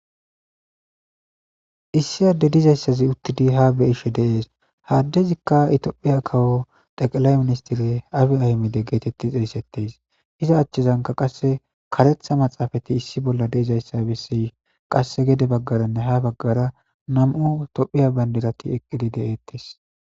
issi adde dizayssazi uttidi ha be ishe deees haaddezikka itophiya kawo teqelay ministire afi ahmide geetetti eisettes iza achchezanka qasse karetha maxaafati issi bolla deizayssa bessi qasse gede baggaranne ha baggara nam7u tophiya bandirati eqqidi de7ettes